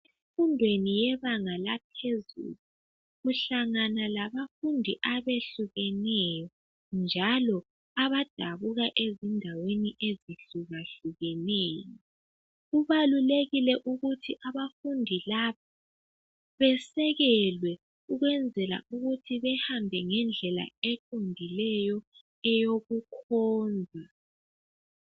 Emfundweni yebanga laphezulu, uhlangena labafundi abehlukeneyo, njalo abadabuka ezindaweni ezihlukahlukeneyo. Kubalulekile ukuthi abafundi laba besekelwe ukwenzela ukuthi behambe ngedlela eqondileyo eyokukhonza.